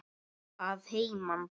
Að heiman?